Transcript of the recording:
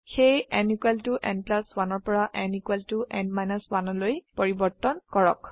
সেয়ে n n 1 পৰা n n 1লৈ পৰিবৰ্তন কৰক